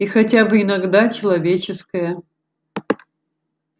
и хотя бы иногда человеческая